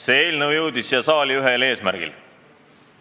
See eelnõu jõudis siia saali ühel eesmärgil.